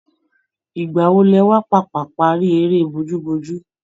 Ìgbà wo lẹ wá pàpà parí erẹ́ bojúbojú